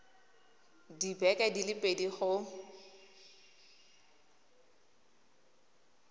dibeke di le pedi go